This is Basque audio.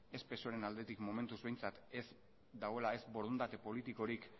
ez psoeren aldetik momentuz behintzat ez dagoela ez borondate politikorik